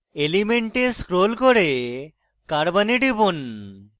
element এ scroll করে carbon এ টিপুন